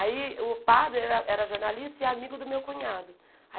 Aí o padre era era jornalista e amigo do meu cunhado.